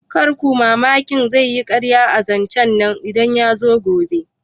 Karku sha mamaki zaiyi karya akan zancen nan idan yazo gobe